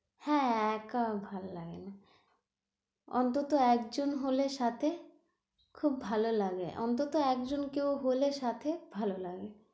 হ্যাঁ একা ভাল্লাগে না অন্তত একজন হলে সাথে খুব ভালো লাগে, অন্তত একজন কেউ হলে সাথে ভালো লাগে,